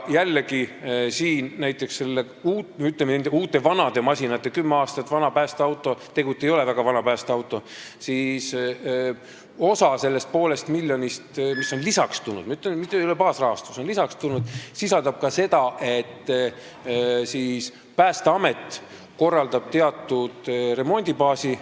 Jällegi, nende, ütleme, uute vanade masinate puhul – kümme aastat vana päästeauto ei ole tegelikult väga vana – osa sellest poolest miljonist, mis on lisaks tulnud, st ei ole baasrahastus, sisaldab ka seda, et Päästeamet korraldab teatud remondibaasi.